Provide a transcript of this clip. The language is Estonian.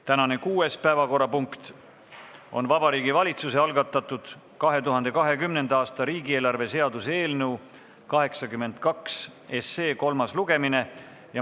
Tänane kuues päevakorrapunkt on Vabariigi Valitsuse algatatud 2020. aasta riigieelarve seaduse eelnõu 82 kolmas lugemine.